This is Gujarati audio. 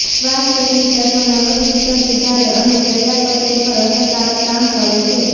શ્વાસ ટેકનિક તત્વો નર્વસ સિસ્ટમ સુધારે અને ચયાપચય પર અસરકારક કામ કરે છે